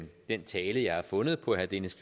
den tale jeg har fundet på herre dennis